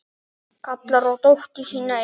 Kallar á dóttur sína inn.